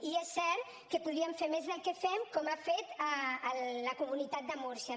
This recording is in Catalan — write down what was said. i és cert que podríem fer més del que fem com ha fet la comunitat de múrcia